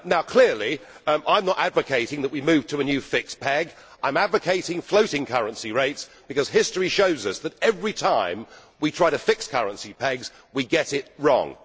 Clearly I am not advocating that we move to a new fixed peg, I am advocating floating currency rates because history shows us that every time we try to fix currency pegs we get it wrong.